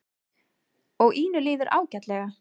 Og Ínu líður ágætlega.